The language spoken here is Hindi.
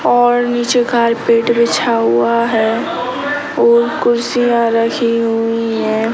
और नीचे कारपेट बिछा हुआ है और कुर्सियाँ रखी हुई हैं।